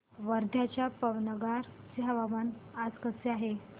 वर्ध्याच्या पवनार चे हवामान आज कसे आहे